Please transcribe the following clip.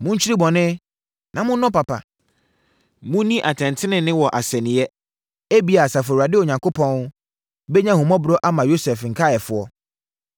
Monkyiri bɔne, na monnɔ papa; Monni atɛn tenenee wɔ asɛnniiɛ. Ebia, Asafo Awurade Onyankopɔn bɛnya ahummɔborɔ ama Yosef nkaeɛfoɔ.